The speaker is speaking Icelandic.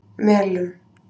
Melum